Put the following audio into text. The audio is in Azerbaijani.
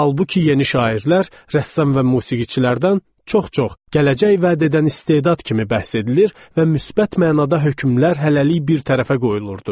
Halbuki yeni şairlər, rəssam və musiqiçilərdən çox-çox gələcək vəd edən istedad kimi bəhs edilir və müsbət mənada hökmlər hələlik bir tərəfə qoyulurdu.